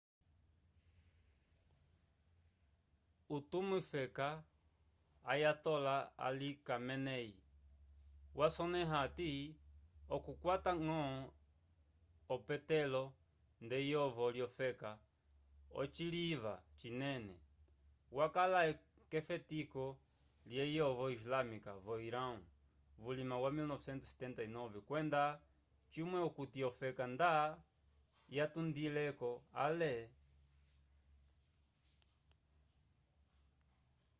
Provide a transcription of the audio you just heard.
utumiwofeka ayatollah ali khamenei wasonẽha hati okukwata ñgo opetolo nd'eyovo lyofeka ociliva cinene yakala k'efetiko lyeyovo islâmica vo irão vulima wa 1979 kwenda cimwe okuti ofeka nda yatundile-ko ale